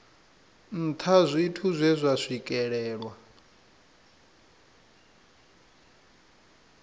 nṱha zwithu zwe zwa swikelelwa